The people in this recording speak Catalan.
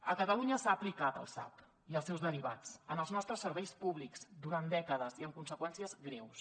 a catalunya s’ha aplicat el sap i els seus derivats en els nostres serveis públics durant dècades i amb conseqüències greus